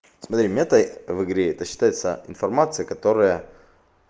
смотри мета в игре это считается информация которая